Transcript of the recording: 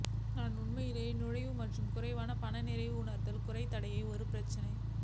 நான் உண்மையில் நுழைவு மற்றும் குறைவான பணம் நிறைய உணர்தல் குறைந்த தடைகளை ஒரு பிரச்சனை